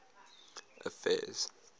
affairs